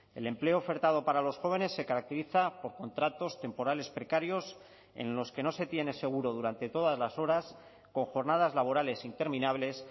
el empleo ofertado para los jóvenes se caracteriza por contratos temporales precarios en los que no se tiene seguro durante todas las horas con jornadas laborales interminables